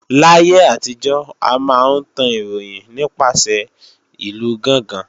Láyé àtijọ́, a máa ń tan ìròyìn nípasẹ̀ ìlú gángan